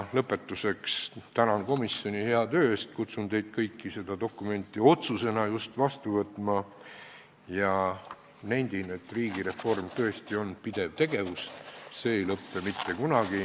Lõpetuseks tänan komisjoni hea töö eest, kutsun teid kõiki seda dokumenti just otsusena vastu võtma ja nendin, et riigireform on tõesti pidev tegevus, see ei lõpe mitte kunagi.